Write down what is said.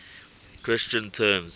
christian terms